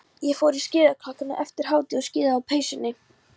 Ég fór úr skíðajakkanum eftir hádegi og skíðaði á peysunni.